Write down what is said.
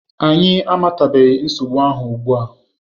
Anyị amatabeghị nsogbu ahụ ugbua.